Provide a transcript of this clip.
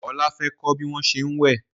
Ola fè kò bí wón ṣe wẹ